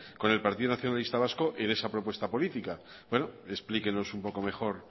con el partido nacionalista vasco en esa propuesta política explíquenos un poco mejor